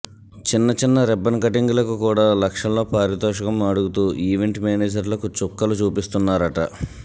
చిన్న చిన్న ribbon cutting లకు కూడా లక్షల్లో పారితోషకం అడుగుతూ ఈవెంట్ మేనేజర్లకు చుక్కలు చూపిస్తున్నారట